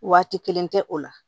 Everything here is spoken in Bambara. Waati kelen tɛ o la